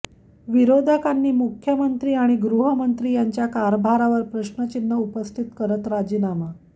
विरोधकांनी मुख्यमंत्री आणि गृहमंत्री यांच्या कारभारावर प्रश्नचिन्ह उपस्थित करत राजीनामा